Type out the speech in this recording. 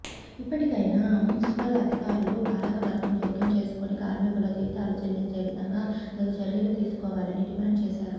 ఇప్పటికైనా మున్సిపల్ అధికారులు పాలకవర్గం జోక్యం చేసుకొని కార్మికుల జీతాలు చెల్లించే విధంగా తగు చర్యలు తీసుకోవాలని డిమాండ్ చేశారు